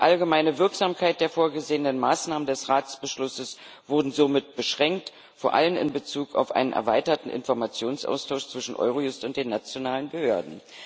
Die allgemeine Wirksamkeit der vorgesehenen Maßnahmen des Ratsbeschlusses wurden somit beschränkt vor allem in Bezug auf einen erweiterten Informationsaustausch zwischen Eurojust und den nationalen Behörden.